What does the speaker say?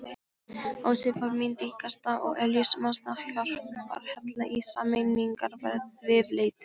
Ási var mín dyggasta og eljusamasta hjálparhella í sameiningarviðleitninni.